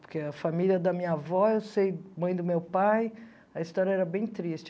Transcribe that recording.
Porque a família da minha avó, eu sei, mãe do meu pai, a história era bem triste.